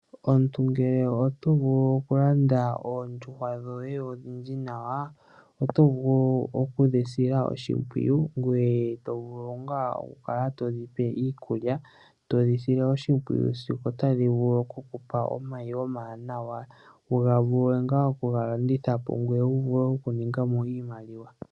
Omuntu ngele oto vulu okulanda oondjuhwa dhoye odhindji nawa, oto vulu oku dhi sila oshimpwiyu. Ngoye to vulu ngaa okukala to dhipe iikulya, to dhi sile oshimpwiyu sigo tadhi vulu okukupa omayi omawanawa okuga vula ngaa oku ga landithapo, ngoye wu vule okuningamo iimaliwa.